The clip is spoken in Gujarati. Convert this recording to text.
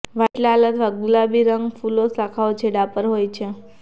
વ્હાઇટ લાલ અથવા ગુલાબી રંગ ફૂલો શાખાઓ છેડા પર હોય છે